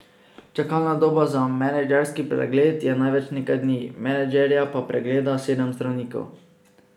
Čakalna doba za menedžerski pregled je največ nekaj dni, menedžerja pa pregleda sedem zdravnikov.